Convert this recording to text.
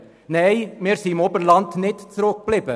Nein, wir im Oberland sind nicht zurückgeblieben.